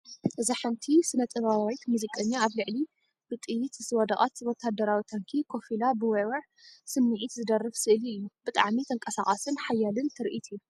እዚ ሓንቲ ስነጥበባዊት ሙዚቀኛ ኣብ ልዕሊ ብጥይት ዝወደቐት ወተሃደራዊ ታንኪ ኮፍ ኢላ ብውዕዉዕ ስምዒት ዝደርፍ ስእሊ እዩ። ብጣዕሚ ተንቀሳቓስን ሓያልን ትርኢት እዩ!